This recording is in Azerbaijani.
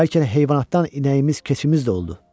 Bəlkə də heyvanatdan inəyimiz, keçimiz də oldu.